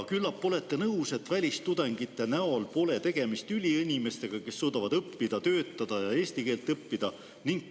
Küllap olete nõus, et välistudengite näol pole tegemist üliinimestega, kes suudavad õppida, töötada ja eesti keelt õppida.